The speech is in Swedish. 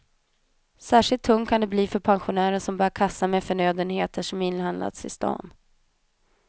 Särskilt tungt kan det bli för pensionärer som bär kassar med förnödenheter som inhandlats i stan.